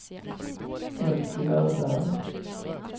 Elsie Öberg